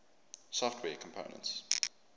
software components